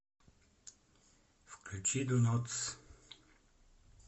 включи донотс